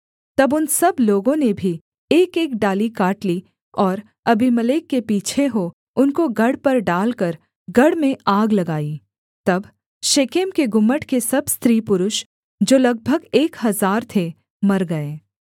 तब उन सब लोगों ने भी एकएक डाली काट ली और अबीमेलेक के पीछे हो उनको गढ़ पर डालकर गढ़ में आग लगाई तब शेकेम के गुम्मट के सब स्त्री पुरुष जो लगभग एक हजार थे मर गए